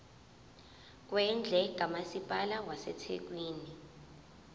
kwendle kamasipala wasethekwini